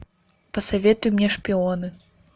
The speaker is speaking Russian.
посоветуй мне шпионы